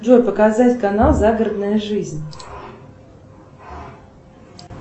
джой показать канал загородная жизнь